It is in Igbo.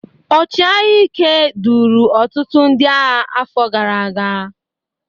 ọchịagha Ike, duru ọtụtụ ndị agha afọ gara aga.